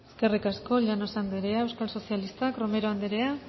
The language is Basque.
eskerrik asko llanos anderea euskal sozialistak romero anderea